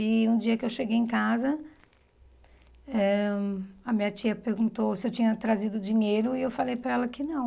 E um dia que eu cheguei em casa, eh a minha tia perguntou se eu tinha trazido dinheiro e eu falei para ela que não.